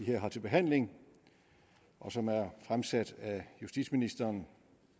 her har til behandling og som er fremsat af justitsministeren